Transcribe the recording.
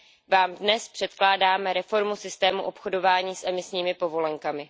Vám dnes předkládáme reformu systému obchodování s emisními povolenkami.